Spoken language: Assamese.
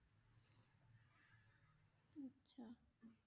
আচ্ছা।